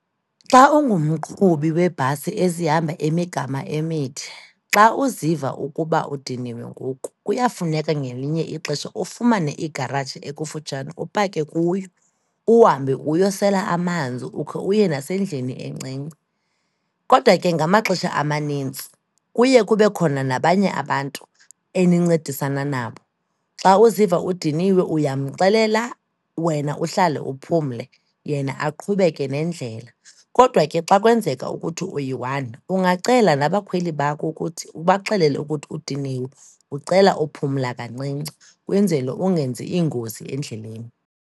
Xa ungumqhubi weebhasi ezihamba imigama emide, xa uziva ukuba udiniwe ngoku, kuyafuneka ngelinye ixesha ufumane igaraji ekufutshane upake kuyo, uhambe uyosela amanzi ukhe uye nasendlini encinci. Kodwa ke ngamaxesha amanintsi kuye kube khona nabanye abantu enincedisana nabo. Xa uziva udiniwe uyamxelela, wena uhlale uphumle, yena aqhubeke nendlela. Kodwa ke xa kwenzeka ukuthi uyi-one, ungacela nabakhweli bakho ukuthi ubaxelele ukuthi udiniwe, ucela uphumla kancinci, kwenzele ungenzi iingozi endleleni.